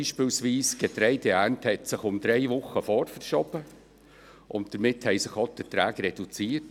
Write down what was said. Beispielsweise hat sich die Getreideernte um drei Wochen vorgeschoben, und damit haben sich auch die Erträge reduziert.